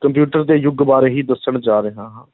computer ਦੇ ਯੁੱਗ ਬਾਰੇ ਹੀ ਦੱਸਣ ਜਾ ਰਿਹਾ ਹਾਂ